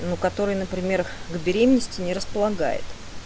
ну который на пример к беременности не располагает